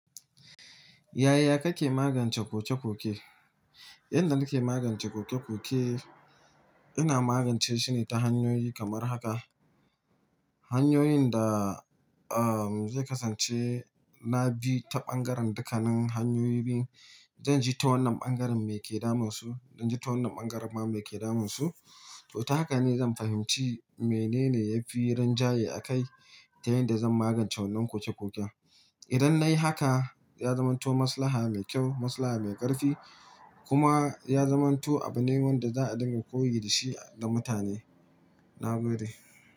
Yaya kake magance koke-koke? Inda nike magance koke-koke, ina magance shi ne ta hanyoyi kamar haka. Hanyoyin da, um, zai kasance na bi ta ɓangaren dukanin hanyoyi biyu. Zanji ta wannan ɓangaren me ke damun su, zanji ta wannan ɓangaren ma me ke damun su. To ta haka ne zan fahimci menene ya fi rinjaye a kai ta yanda zan magance wannan koke-koken. Idan nayi haka, ya zamanto maslaha mai kyau, maslaha mai ƙarfi kuma ya zamanto abu ne wanda za a dinga koyi da shi da mutane. Na gode.